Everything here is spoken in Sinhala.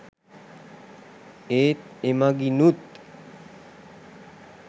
ඒත් එමඟිනුත්